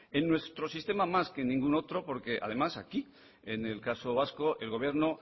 en nuestro sistema más que en ningún otro porque además aquí en el caso vasco el gobierno